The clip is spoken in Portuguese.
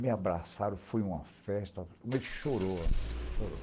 Me abraçaram, foi uma festa, mas ele chorou, chorou.